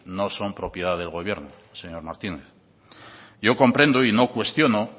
no son propiedad del gobierno señor martínez yo comprendo y no cuestiono